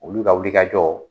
Olu ka wuli ka jɔ